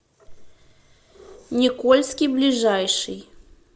никольский ближайший